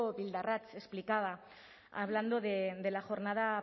bildarratz explicada hablando de la jornada